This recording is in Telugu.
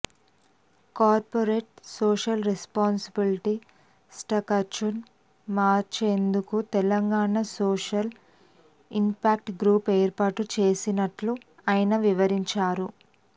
కార్పొరేట్ సోషల్ రెస్పాన్సిబిలిటీ స్ట్రక్చర్ను మార్చేందుకు తెలంగాణ సోషల్ ఇంపాక్ట్ గ్రూప్ను ఏర్పాటు చేయనున్నట్టు ఆయన వివరించారు